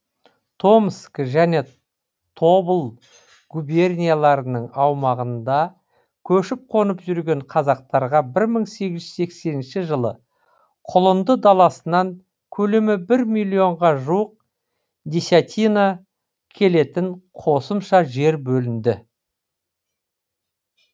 томск және тобыл губернияларының аумағында көшіп қонып жүрген қазақтарға бір мың сегіз жүз сексенінші жылы құлынды даласынан көлемі бір миллионға жуық десятина келетін қосымша жер бөлінді